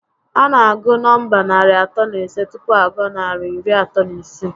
A na agụ nọmba narị atọ na ise tupu a gụọ narị iri atọ na isii